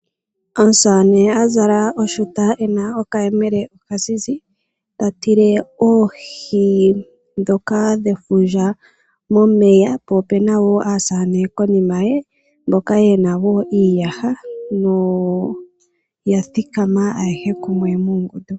Omusamane azala oshuta ena okayemele okazizi, ta tile oohi dhoka dhefundja momeya, po opena woo aasamane konima ye, mboka ye na woo iiyaha, yo oya thikama ayehe kumwe mongundu.